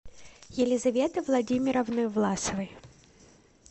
елизаветы владимировны власовой